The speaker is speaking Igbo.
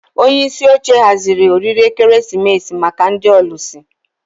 Onye isi oche haziri oriri ekeresimesi maka ndị ọlụsị